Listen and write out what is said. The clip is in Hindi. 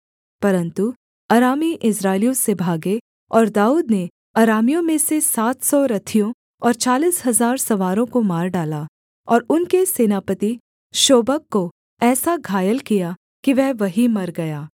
परन्तु अरामी इस्राएलियों से भागे और दाऊद ने अरामियों में से सात सौ रथियों और चालीस हजार सवारों को मार डाला और उनके सेनापति शोबक को ऐसा घायल किया कि वह वहीं मर गया